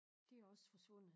Det er også forsvundet